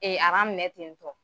aran minɛ ten tɔ